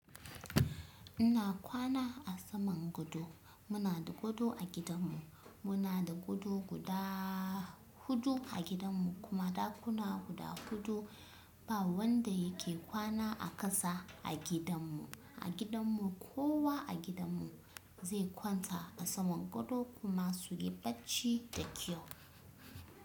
Ina kwana a saman gado. Muna da gado a gidanmu. Muna da gado guda huɗu a gidanmu kuma ɗakuna huɗa huɗu. Ba wanda yake kwana a ƙasa a gidanmu. A gidanmu kowa a gidanmu zai kwanta a saman gado kuma su yi bacci da kyau.